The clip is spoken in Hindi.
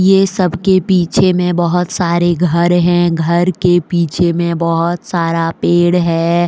ये सब के पीछे में बहोत सारे घर है। घर के पीछे में बहोत सारा पेड़ है।